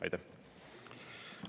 Aitäh!